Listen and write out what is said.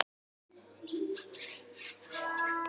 En hvað þýðir þetta síðan?